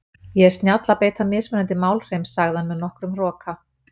Ég er snjall að beita mismunandi málhreim, sagði hann með nokkrum hroka.